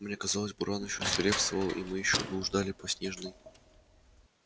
мне казалось буран ещё свирепствовал и мы ещё блуждали по снежной